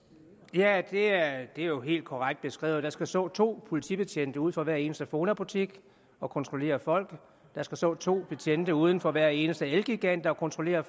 ja det er jo helt korrekt beskrevet der skal stå to politibetjente ud for hver eneste fona butik og kontrollere folk der skal stå to betjente uden for hver eneste elgiganten og kontrollere